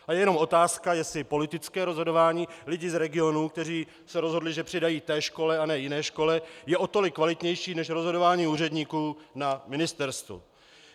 A je jenom otázka, jestli politické rozhodování lidí z regionů, kteří se rozhodli, že přidají té škole a ne jiné škole, je o tolik kvalitnější než rozhodování úředníků na ministerstvu.